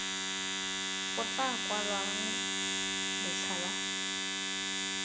go tla kwalwang letlha la